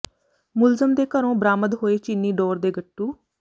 ਮੁਲਜ਼ਮ ਦੇ ਘਰੋਂ ਬਰਾਮਦ ਹੋਏ ਚੀਨੀ ਡੋਰ ਦੇ ਗੱਟੂ